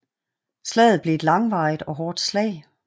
Slaget blev et langvarigt og hårdt slag